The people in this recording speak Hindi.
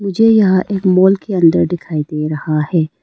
ये यहां एक मॉल के अंदर दिखाई दे रहा है।